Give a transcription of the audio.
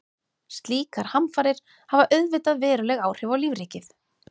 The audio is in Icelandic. Slíkar hamfarir hafa auðvitað veruleg áhrif á lífríkið.